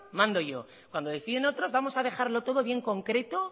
mando yo cuando deciden otros vamos a dejarlo todo bien concreto